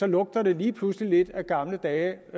lugter det lige pludselig af gamle dage